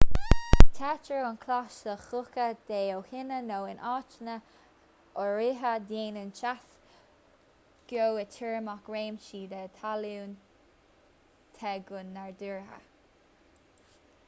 téitear an chlais le clocha te ó thine nó in áiteanna áirithe déanann teas geoiteirmeach réimsí den talún te go nádúrtha